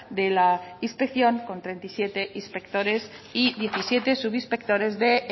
de la inspección con treinta y siete inspectores y diecisiete subinspectores de